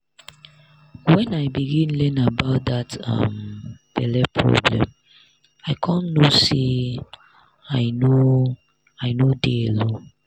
when i begin learn about that um belle problem i come know say i no i no dey alone